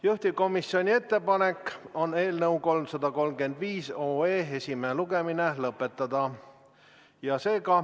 Juhtivkomisjoni ettepanek on eelnõu 335 esimene lugemine lõpetada.